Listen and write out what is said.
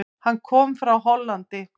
Hann kom frá Hollandi.